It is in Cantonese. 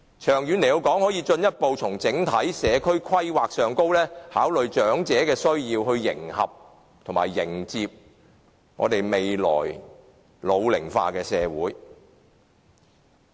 長遠來說，政府可以進一步從整體社區規劃方面考慮長者的需要，以迎合及迎接未來老齡化的社會。